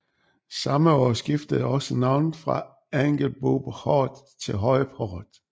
Samme år skiftede også navnet fra Angelboport til Høje Port